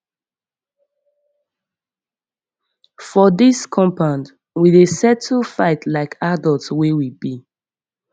for dis compound we dey settle fight like adults wey we be